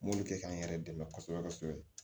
M'olu kɛ k'an yɛrɛ dɛmɛ kosɛbɛ kosɛbɛ